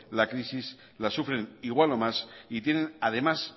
la crisis la sufren igual o más y tienen además